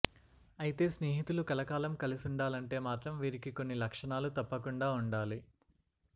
అయితే స్నేహితులు కలకాలం కలిసుండాలంటే మాత్రం వీరికి కొన్ని లక్షణాలు తప్పకుండా ఉండాలి